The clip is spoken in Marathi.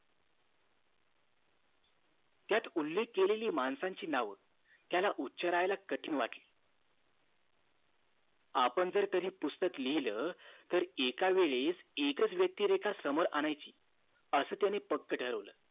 त्यात उल्लेख केलेली माणसांची नाव त्याला उच्चारायचा कठीण वाटलं आपण जर कधी पुस्तक लिहिलं तर एका वेळी एकच व्यक्तिरेखा समोर आणायची असं त्याने पक्के ठरवलं